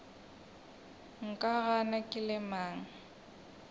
nka gana ke le mang